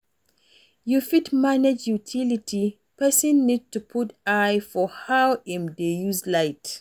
To fit manage utility, person need to put eye for how im dey use light